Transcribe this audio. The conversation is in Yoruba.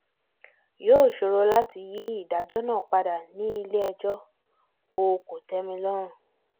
yóò ṣòro láti yí ìdájọ́ náà padà nílé ẹjọ́ o kòtẹ́milọ́rùn